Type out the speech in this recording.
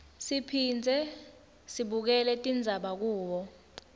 siphindze sibukele tindzaba kubo